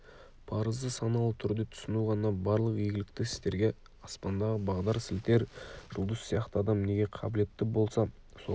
парызды саналы түрде түсіну ғана барлық игілікті істерге аспандағы бағдар сілтер жұлдыз сияқты адам неге қабілетті болса соған